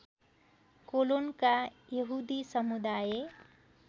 कोलोनका यहुदी समुदाय